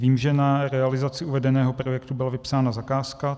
Vím, že na realizaci uvedeného projektu byla vypsána zakázka.